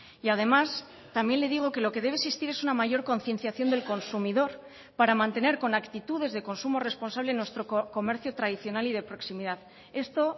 y además también le digo que lo que debe existir es una mayor concienciación del consumidor para mantener con actitudes de consumo responsable nuestro comercio tradicional y de proximidad esto